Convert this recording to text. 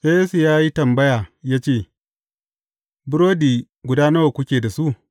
Sai Yesu ya yi tambaya ya ce, Burodi guda nawa kuke da su?